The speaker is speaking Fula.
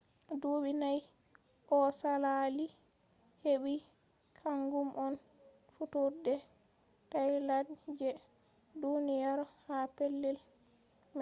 dubi nayi ko salali patent hebi, kangum on fudurde tyelade je duniyaro ha pellel mri